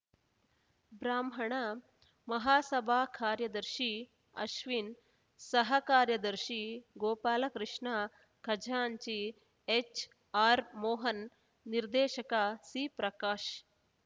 ಬ್ರಾಹ್ಮಣ ಮಹಾಸಭಾ ಕಾರ್ಯದರ್ಶಿ ಅಶ್ವಿನ್‌ ಸಹ ಕಾರ್ಯದರ್ಶಿ ಗೋಪಾಲಕೃಷ್ಣ ಖಜಾಂಚಿ ಎಚ್‌ಆರ್‌ ಮೋಹನ್‌ ನಿರ್ದೇಶಕ ಸಿಪ್ರಕಾಶ್‌